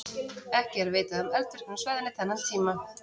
Ekki er vitað um eldvirkni á svæðinu þennan tíma.